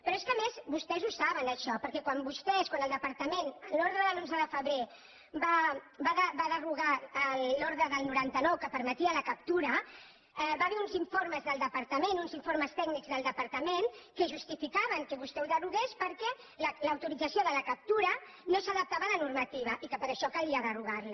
però és que a més vostès ho saben això perquè quan vostès quan el departament en l’ordre de l’onze de febrer va derogar l’ordre del noranta nou que en permetia la captura hi va haver uns informes del departament uns informes tècnics del departament que justificaven que vostè ho derogués perquè l’autorització de la captura no s’adaptava a la normativa i que per això calia derogar la